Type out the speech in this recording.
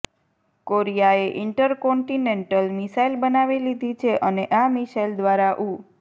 કોરિયાએ intercontinental missile બનાવી લીધી છે અને આ મિસાઈલ દ્વારા ઉ